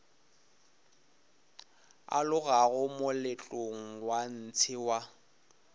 alogago moletlong wa ntshe wa